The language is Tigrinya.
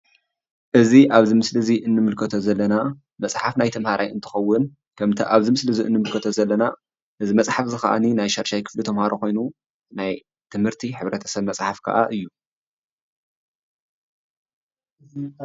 እዚ ኣብዚ ምስሊ እዚ እንምልከቶ ዘለና መፅሓፍ ናይ ተምሃራይ እንትኸዉን ከምቲ ኣብዚ ምስሊ እዚ እንምልከቶ ዘለና እዚ መፅሓፍ እዚ ክዓኒ ናይ ሻድሻይ ክፍሊ ተምሃሮ ኮይኑ ናይ ትምህረቲ ሕብረተሰብ መፅሓፍ ክዓ እዩ፡፡